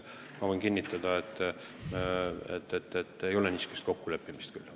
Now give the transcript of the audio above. Ma võin kinnitada, et ei ole olnud mingisugust kokkuleppimist.